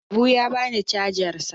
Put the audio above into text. Habu ya bani cajar sa.